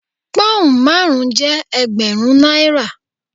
Pón márùn-ún jẹ́ Ẹgbẹ̀rún náírà.